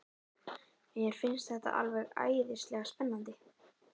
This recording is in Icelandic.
Mér finnst þetta alveg æðislega spennandi.